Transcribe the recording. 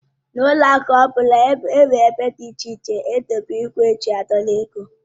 N'ụlọ akụ ọbụla nwere ébé dị iche iche edobere igwe eji a dọrọ ego.